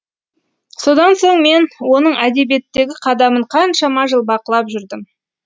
содан соң мен оның әдебиеттегі қадамын қаншама жыл бақылап жүрдім